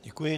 Děkuji.